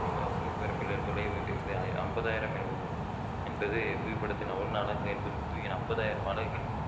ஐம்பதாயிரம் எனவும் என்பது புவிப்படத்தின் ஒன்னு அலகு என்பது புவியில் ஐம்பதாயிரம் அலகுகள் குறிக்கும்